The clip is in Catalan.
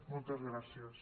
moltes gràcies